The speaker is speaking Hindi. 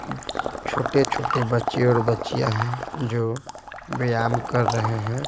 छोटे-छोटे बच्चे और बच्चियाँ हैं जो व्यायाम कर रहे हैं।